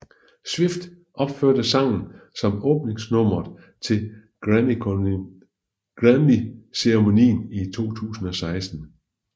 Swift opførte sangen som åbningsnummeret til Grammyceremonien i 2016